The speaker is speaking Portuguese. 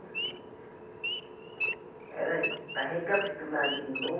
Pera aí, para recapitular de novo